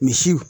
Misi